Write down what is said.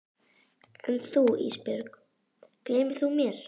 En þú Ísbjörg, gleymir þú mér?